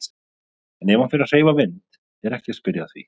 En ef hann fer að hreyfa vind er ekki að spyrja að því.